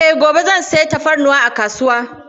Eh, gobe zan sayi tafarnuwa a kasuwa.